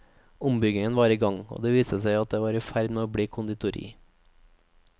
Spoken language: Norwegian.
Ombygging var i gang, og det viste seg at det var i ferd med å bli konditori.